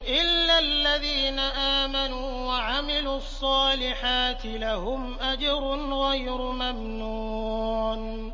إِلَّا الَّذِينَ آمَنُوا وَعَمِلُوا الصَّالِحَاتِ لَهُمْ أَجْرٌ غَيْرُ مَمْنُونٍ